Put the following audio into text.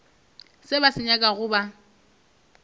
se ba se nyakago ba